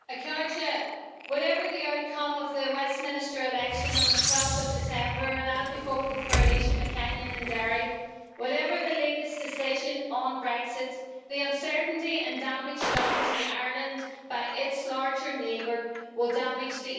whatever the outcome of the Westminster election on 12 December I will be voting for Elisha McCallion in Derry and whatever the latest decision on Brexit, the uncertainty and damage done to Ireland by its larger neighbour will damage the EU too.